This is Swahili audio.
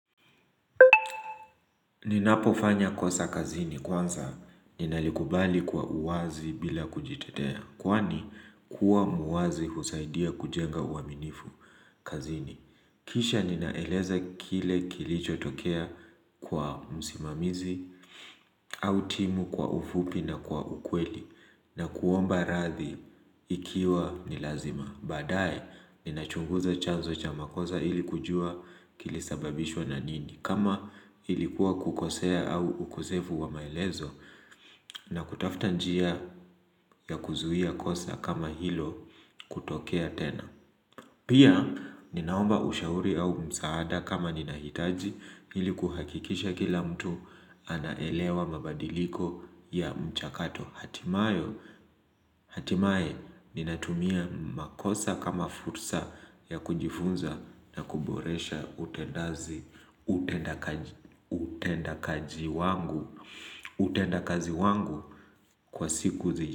Ninapofanya kosa kazini kwanza ninalikubali kwa uwazi bila kujitetea kwani kuwa muwazi husaidia kujenga uaminifu kazini. Kisha ninaeleza kile kilicho tokea kwa musimamizi au timu kwa ufupi na kwa ukweli na kuomba rathi ikiwa nilazima. Baadae, nina chunguza chanzo cha makosa ili kujua kilisababishwa na nini. Kama ilikuwa kukosea au ukosefu wa maelezo. Na kutafuta njia ya kuzuia kosa kama hilo kutokea tena. Pia, ninaomba ushauri au msaada kama nina hitaji ili kuhakikisha kila mtu anaelewa mabadiliko ya mchakato. Hatimaye, hatimaye ninatumia makosa kama fursa ya kujifunza na kuboresha utendaji utenda kaji wangu kwa siku zile.